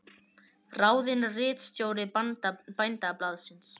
Ráðinn ritstjóri Bændablaðsins